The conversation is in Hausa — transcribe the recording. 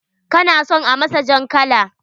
Kana son a masa jan kala?